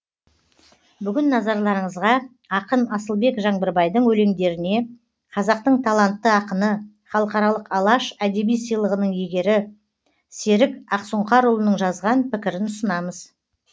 бүгін назарларыңызға ақын асылбек жаңбырбайдың өлеңдеріне қазақтың талантты ақыны халықаралық алаш әдеби сыйлығының иегері серік ақсұңқарұлының жазған пікірін ұсынамыз